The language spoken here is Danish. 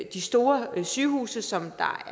de store sygehuse som er